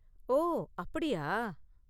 ஓ, அப்படியா?